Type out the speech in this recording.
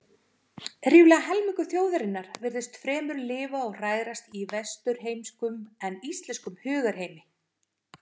Rífur helmingur þjóðarinnar virtist fremur lifa og hrærast í vesturheimskum en íslenskum hugarheimi.